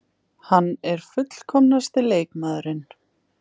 Hann er fullkomnasti leikmaðurinn.